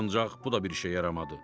Ancaq bu da bir işə yaramadı.